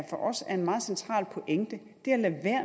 for os er en meget central pointe